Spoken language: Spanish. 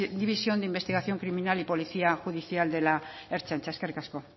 división de investigación criminal y policía judicial de la ertzaintza eskerrik asko